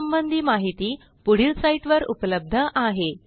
यासंबंधी माहिती पुढील साईटवर उपलब्ध आहे